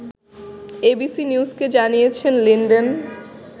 ABC নিউজকে জানিয়েছেন Linden